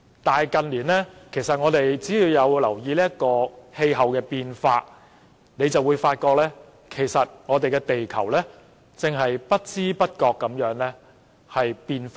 但是，近年大家若有留意氣候變化，便會發覺地球正在不知不覺間轉變。